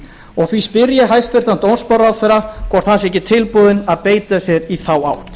öryggisfangelsis því spyr ég hæstvirtan dómsmálaráðherra hvort hann sé ekki tilbúinn að beita sér í þá átt